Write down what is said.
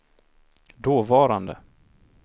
dåvarande